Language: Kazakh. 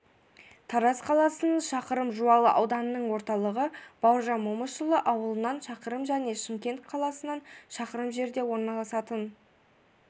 тараз қаласынан шақырым жуалы ауданының орталығы бауыржан момышұлы ауылынан шақырым және шымкент қаласынан шақырым жерде орналасатын